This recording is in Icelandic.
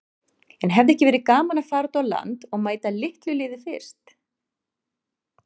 En hefði ekki verið gaman að fara út á land og mæta litlu liði fyrst?